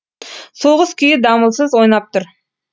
соғыс күйі дамылсыз ойнап тұр